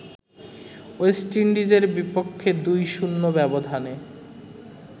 West ইন্ডিজের বিপক্ষে ২-০ ব্যবধানে